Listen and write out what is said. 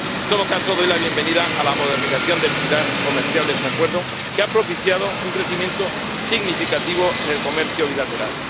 En todo caso, doy la bienvenida a la modernización del pilar comercial de este acuerdo, que ha propiciado un crecimiento significativo en el comercio bilateral.